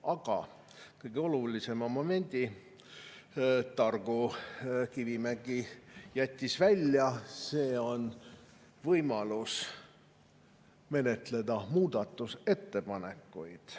Aga kõige olulisema momendi jättis Kivimägi targu välja – see on võimalus menetleda muudatusettepanekuid.